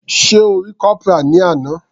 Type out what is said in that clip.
Sé O rí Corporal ní àná.